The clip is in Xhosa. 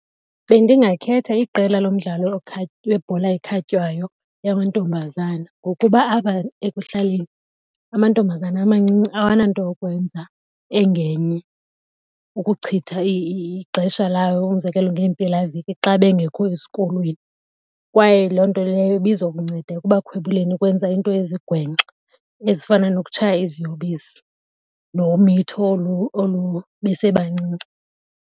Bendingakhetha iqela lomdlalo webhola ekhatywayo yamantombazana ngokuba apha ekuhlaleni amantombazana amancinci awananto yokwenza engenye ukuchitha ixesha labo, umzekelo ngeempelaveki xa bengekho esikolweni. Kwaye loo nto leyo ibizokunceda ekubakhwebuleni ukwenza into ezigwenxa ezifana nokutshaya iziyobisi nomitho olu besebancinci.